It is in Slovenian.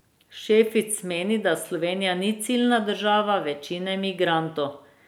Šefic meni, da Slovenija ni ciljna država večine migrantov.